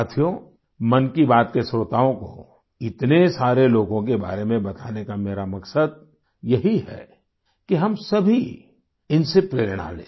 साथियो मन की बात के श्रोताओं को इतने सारे लोगों के बारे में बताने का मेरा मकसद यही है कि हम सभी इनसे प्रेरणा लें